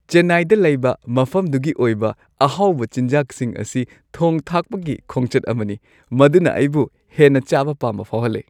ꯆꯦꯟꯅꯥꯏꯗ ꯂꯩꯕ ꯃꯐꯝꯗꯨꯒꯤ ꯑꯣꯏꯕ ꯑꯍꯥꯎꯕ ꯆꯤꯟꯖꯥꯛꯁꯤꯡ ꯑꯁꯤ ꯊꯣꯡ ꯊꯥꯛꯄꯒꯤ ꯈꯣꯡꯆꯠ ꯑꯃꯅꯤ ꯃꯗꯨꯅ ꯑꯩꯕꯨ ꯍꯦꯟꯅ ꯆꯥꯕ ꯄꯥꯝꯕ ꯐꯥꯎꯍꯜꯂꯤ ꯫